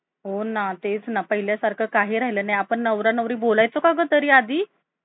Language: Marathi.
काम पण वेळेवर